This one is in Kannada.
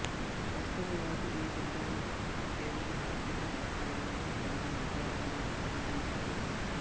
ವಾಸ್ತವವಾಗಿ ಈ ಸಿದ್ಧಾಂತ ಕೇವಲ ಆರ್ಥಿಕ ಮಾತ್ರವಲ್ಲದೇ ಎಲ್ಲಾ ನಿರ್ಧಾರಗಳಿಗೂ ಅನ್ವಯಿಸುತ್ತದೆ